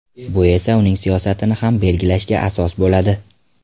Bu esa uning siyosatini ham belgilashga asos bo‘ladi.